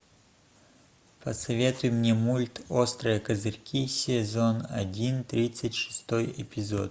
посоветуй мне мульт острые козырьки сезон один тридцать шестой эпизод